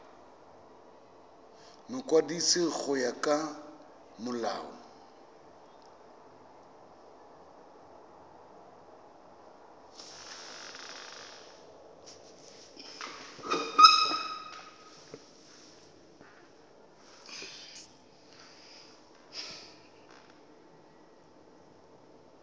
mokwadisi go ya ka molao